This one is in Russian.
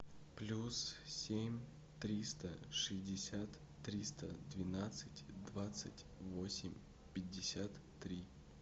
плюс семь триста шестьдесят триста двенадцать двадцать восемь пятьдесят три